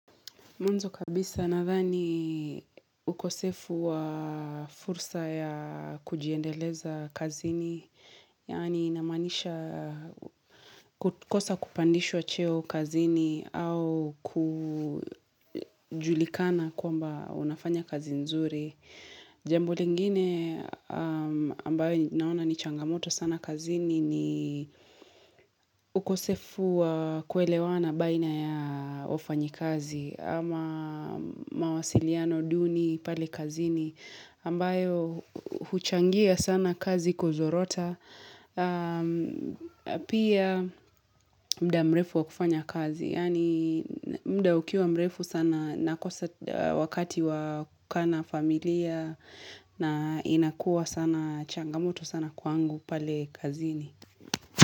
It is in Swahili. Mwanzo kabisa na thani ukosefu wa fursa ya kujiendeleza kazini. Yani inamanisha kukosa kupandishwa cheo kazini au kujulikana kuamba unafanya kazi nzuri. Jambo lingine ambayo naona ni changamoto sana kazini ni ukosefu wa kuelewana baina ya wafanyakazi. Ama mawasiliano duni pale kazini ambayo huchangia sana kazi kuzorota Pia muda mrefu wakufanya kazi Yani muda ukiwa mrefu sana Nakosa wakati wa kuka na familia na inakua sana changamoto sana kwangu pale kazini.